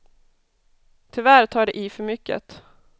Tyvärr tar de i för mycket.